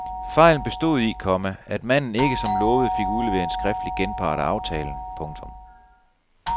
Fejlen bestod i, komma at manden ikke som lovet fik udleveret en skriftlig genpart af aftalen. punktum